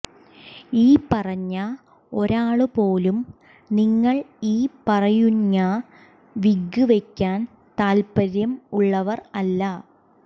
ഈ പറഞ്ഞ ഒരാള് പോലും നിങ്ങൾ ഈ പറയുഞ്ഞ വിഗ് വെക്കാൻ താല്പര്യം ഉള്ളവർ അല്ല